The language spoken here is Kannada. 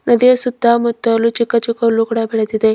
ಹಾಗೆ ಸುತ್ತ ಮುತ್ತಲು ಚಿಕ್ಕ ಚಿಕ್ಕ ಹುಲ್ಲು ಕೂಡ ಬೆಳೆದಿದೆ.